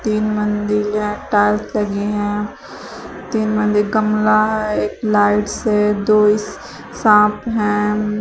तीन मंदिल हैं टाइल्स लगी हैं तीन मंदिर गमला है एक लाइट्स हैं दो सांप हैं।